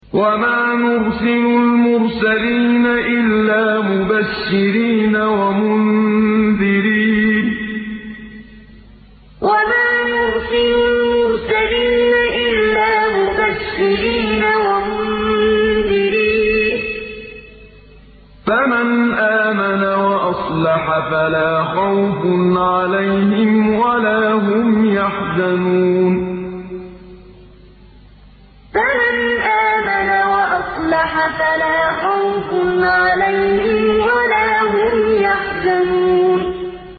وَمَا نُرْسِلُ الْمُرْسَلِينَ إِلَّا مُبَشِّرِينَ وَمُنذِرِينَ ۖ فَمَنْ آمَنَ وَأَصْلَحَ فَلَا خَوْفٌ عَلَيْهِمْ وَلَا هُمْ يَحْزَنُونَ وَمَا نُرْسِلُ الْمُرْسَلِينَ إِلَّا مُبَشِّرِينَ وَمُنذِرِينَ ۖ فَمَنْ آمَنَ وَأَصْلَحَ فَلَا خَوْفٌ عَلَيْهِمْ وَلَا هُمْ يَحْزَنُونَ